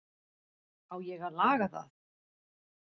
Á ég að laga það?